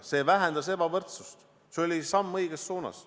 See vähendas ebavõrdsust, see oli samm õiges suunas.